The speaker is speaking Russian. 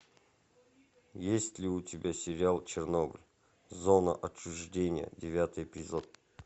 есть ли у тебя сериал чернобыль зона отчуждения девятый эпизод